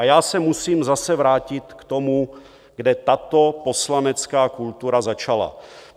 A já se musím zase vrátit k tomu, kde tato poslanecká kultura začala.